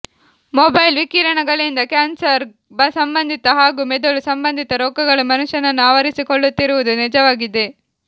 mobile ವಿಕಿರಣಗಳಿಂದ cancer ಸಂಬಂಧಿತ ಹಾಗೂ ಮೆದುಳು ಸಂಬಂಧಿತ ರೋಗಗಳು ಮನುಷ್ಯನನ್ನು ಆವರಿಸಿಕೊಳ್ಳುತ್ತಿರುವುದು ನಿಜವಾಗಿದೆ